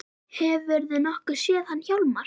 Hefurðu nokkuð séð hann Hjálmar